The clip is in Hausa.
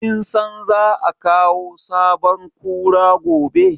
Kin san za a kawo sabon Kura gobe?